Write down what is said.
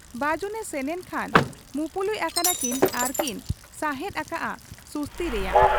ᱵᱟᱹᱡᱩᱱᱮ ᱥᱮᱱᱮᱱ ᱠᱷᱟᱱ ᱢᱩᱯᱩᱞᱩᱡ ᱟᱠᱟᱱᱟᱠᱤᱱ ᱟᱨᱠᱤᱱ ᱥᱟᱦᱮᱸᱫ ᱟᱠᱟᱜ ᱟ ᱥᱩᱥᱩᱛᱤ ᱨᱮᱭᱟᱜ ᱾